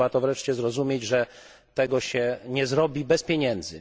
Trzeba wreszcie zrozumieć, że tego się nie zrobi bez pieniędzy.